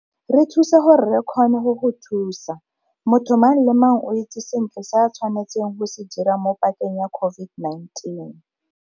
Re thuse gore re kgone go go thusa. Motho mang le mang o itse sentle se a tshwanetseng go se dira mo pakeng ya COVID-19.